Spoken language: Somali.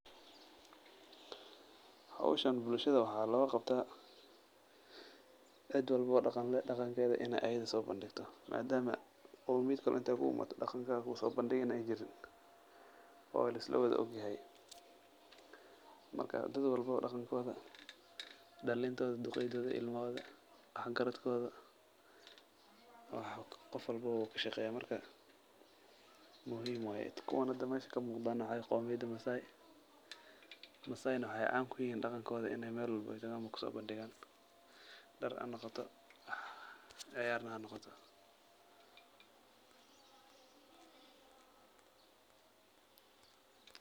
Howshan bulshada waxa loga qabtaa cid walbo oo dhaqan leh in dhaqankeda ayada soo bandhigto madama qomiyad kale intay kuu imaato dhaqankaa kuso bandhigi na ay jirin oo lisla wada og yahay marka dad walbo dhaqan kooda, dhalintoda, duqeydoda iyo ilmahoda iyo wax garad kooda wax qof walbobo uu kashaqeeya marka muhim waye, kuwan hada mesha kamuqdan waxawaye qoomiyada maasai, maasai na waxan caan kuyihin dhqankooda anay mel walbo oo tagaan kuso bandhigan, dhar hanoqoto, ciyar na hanoqoto.